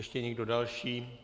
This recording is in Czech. Ještě někdo další?